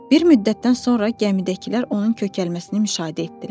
Bir müddətdən sonra gəmidəkilər onun kökəlməsini müşahidə etdilər.